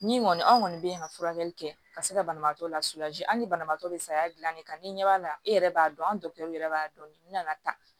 Min kɔni anw kɔni be yen ka furakɛli kɛ ka se ka banabaatɔ la hali ni banabaatɔ be sariya gilan de kan ni ɲɛ b'a la e yɛrɛ b'a dɔn antɛriw yɛrɛ b'a dɔn n nana tan